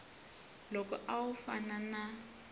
loko a wu fana na